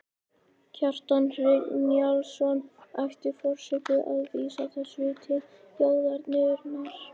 Kjartan Hreinn Njálsson: Ætti forseti að vísa þessu til þjóðarinnar?